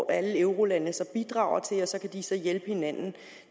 alle eurolandene bidrager til og så kan de så hjælpe hinanden